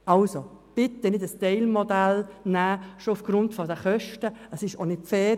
Bitte entscheiden Sie sich nur schon aufgrund der Kosten nicht für ein Teilmodell.